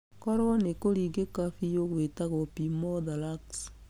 Koro nĩ kũringĩka biu gwĩtagwo pneumothorax.